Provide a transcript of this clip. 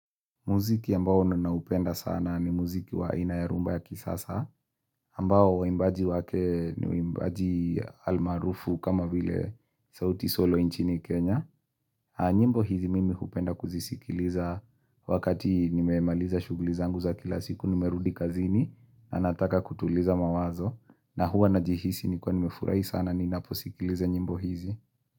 Muziki ambao ninaupenda sana ni muziki waina ya rhumba ya kisasa, ambao waimbaji wake ni waimbaji almaarufu kama vile sauti solo nchini Kenya. Nyimbo hizi mimi hupenda kuzisikiliza wakati nimemaliza shughulizangu za kila siku nimerudi kazini na nataka kutuliza mawazo na huwa na jihisi ni kiwa nimefurahi sana ninaposikiliza nyimbo hizi.